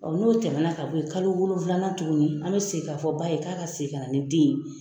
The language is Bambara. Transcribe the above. n'o tɛmɛ na ka bɔ ye kalo wolonwula tuguni an bɛ segin ka fɔ ba ye k'a ka segin ka na ni den ye.